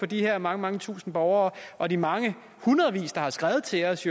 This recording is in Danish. de her mange mange tusinde borgere og de mange hundreder der har skrevet til os